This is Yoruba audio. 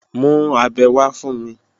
Mú abẹ wá fún mi!